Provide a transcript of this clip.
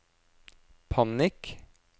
panikk